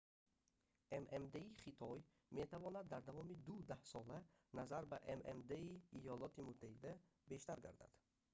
ммд-и хитой метавонад дар давоми ду даҳсола назар ба ммд-и иёлоти муттаҳида бештар гардад